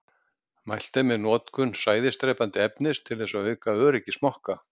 Mælt er með notkun sæðisdrepandi efnis til þess að auka öryggi smokka.